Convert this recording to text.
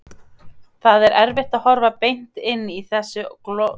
Það er erfitt að horfa beint inn í þessu góðlegu augu hennar og skrökva.